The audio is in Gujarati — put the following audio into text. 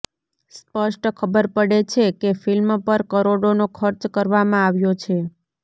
સ્પષ્ટ ખબર પડે છે કે ફિલ્મ પર કરોડોનો ખર્ચ કરવામાં આવ્યો છે